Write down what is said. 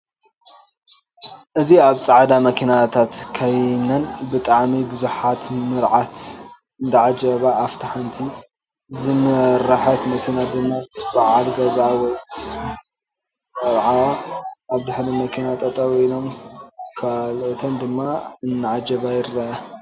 እ ዚ ኣብ ፃዕዳ መኪናታት ከይነን ብጣዓሚ ቡዛሓት ምርዓት እዳዓጀባ ኣፍታ ሓንቲ ዝመረሕት መኪና ድማ ምስ በዓል ገዝኣ ወይ ምስ ምርዓውኣ ኣብ ድሕሪ መኪናን ጠጠው ኢሎም ካልኡተን ድማ እዳዓጀባ ንርኢ።